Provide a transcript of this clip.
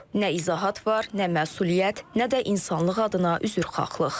Nə izahat var, nə məsuliyyət, nə də insanlıq adına üzrxahlıq.